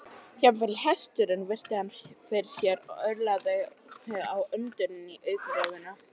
Jafnvel hesturinn virti hann fyrir sér og örlaði á undrun í augnaráðinu.